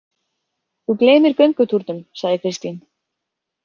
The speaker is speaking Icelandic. Þú gleymir göngutúrnum, sagði Kristín.